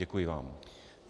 Děkuji vám.